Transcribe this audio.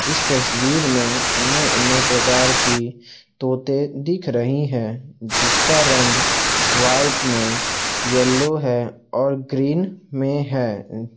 इस तस्वीर में अन्य अन्य प्रकार की तोते दिख रही है जिसका रंग व्हाइट में येलो है और ग्रीन में है। उम्